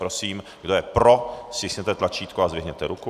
Prosím, kdo je pro, stiskněte tlačítko a zvedněte ruku.